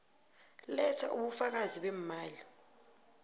letha ubufakazi beemali